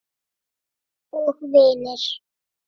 Og vinir.